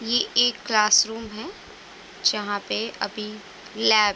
ये एक classroom है जहां पे अभी लैब --